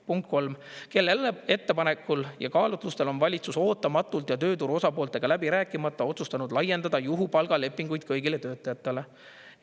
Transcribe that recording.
Punkt kolm: "Kelle ettepanekul ja mis kaalutlustel on valitsus ootamatult ja tööturu osapooltega läbi rääkimata otsustanud laiendada juhupalga lepinguid kõigile töötajatele?